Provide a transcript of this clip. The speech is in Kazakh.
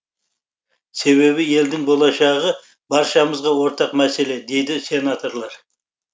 себебі елдің болашағы баршамызға ортақ мәселе дейді сенаторлар